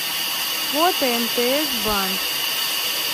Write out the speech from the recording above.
фото мтс банк